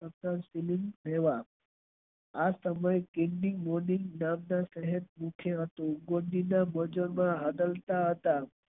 આ સમય બોવ સારો હતો.